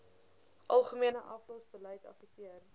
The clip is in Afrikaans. algemene aflosbeleid affekteer